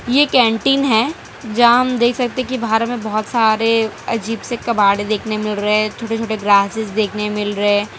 ये कैंटीन है जहां हम देख सकते कि बाहर में बहुत सारे अजीब से कबाड़ देखने मिल रहे हैं छोटे छोटे ग्रासेस देखने मिल रहे हैं।